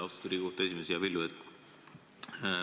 Austatud Riigikohtu esimees, hea Villu!